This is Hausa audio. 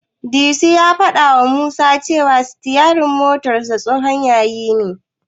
Disu ya fadawa Musa cewa sitiyarinsa tsohon yayi ne.